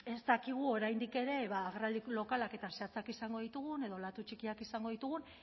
ez dakigu oraindik ere agerraldi lokalak eta zehatzak izango ditugun edo olatu txikiak izango ditugun